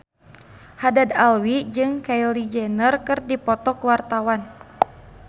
Haddad Alwi jeung Kylie Jenner keur dipoto ku wartawan